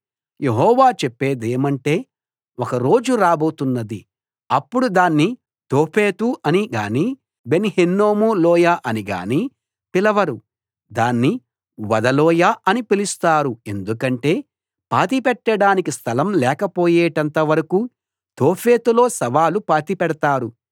యెహోవా చెప్పేదేమంటే ఒక రోజు రాబోతున్నది అప్పుడు దాన్ని తోఫెతు అని గానీ బెన్‌ హిన్నోము లోయ అని గానీ పిలవరు దాన్ని వధ లోయ అని పిలుస్తారు ఎందుకంటే పాతిపెట్టడానికి స్థలం లేకపోయేటంత వరకూ తోఫెతులో శవాలు పాతిపెడతారు